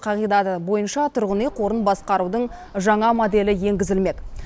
қағидаты бойынша тұрғын үй қорын басқарудың жаңа моделі енгізілмек